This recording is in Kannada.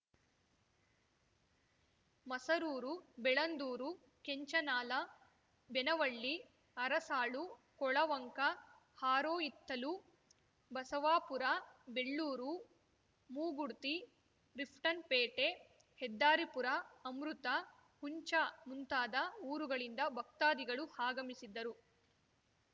ಮಸರೂರು ಬೆಳಂದೂರು ಕೆಂಚನಾಲ ಬೆನವಳ್ಳಿ ಅರಸಾಳು ಕೊಳವಂಕ ಹಾರೋಹಿತ್ತಲು ಬಸವಾಪುರ ಬೆಳ್ಳೂರು ಮೂಗುಡ್ತಿ ರಿಫ್ಟನ್‌ಪೇಟೆ ಹೆದ್ದಾರಿಪುರ ಅಮೃತ ಹುಂಚಾ ಮುಂತಾದ ಊರುಗಳಿಂದ ಭಕ್ತಾದಿಗಳು ಆಗಮಿಸಿದ್ದರು